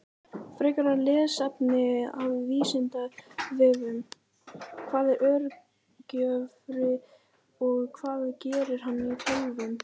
Frekara lesefni af Vísindavefnum: Hvað er örgjörvi og hvað gerir hann í tölvum?